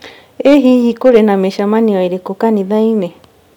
I hihi kũrĩ na mĩcemanio ĩrĩkũ kanitha-inĩ?